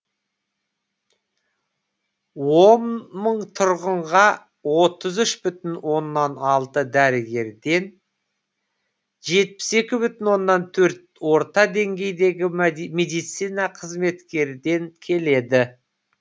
он мың тұрғынға отыз үш бүтін оннан алты дәрігерден жетпіс екі бүтін оннан төрт орта деңгейдегі медицина қызметкерден келеді